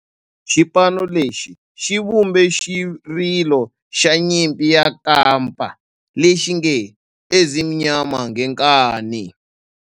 Xipano lexi xi vumbe xirilo xa nyimpi ya kampa lexi nge 'Ezimnyama Ngenkani'.